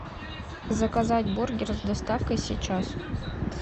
заказать бургер с доставкой сейчас